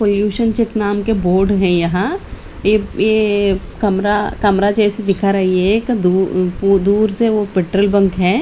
Pollution check नाम के board है यहां ये एक कमरा कमरा जैसे दिख रही है कि दू दूर से वह पैट्रोल पंप है।